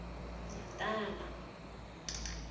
natala